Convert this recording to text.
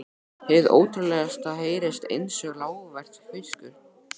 Hið ótrúlegasta heyrist einsog lágvært hvískur.